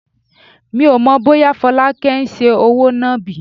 Mi ò mọ̀ bóyá Folake ń ṣe òwò nàbì.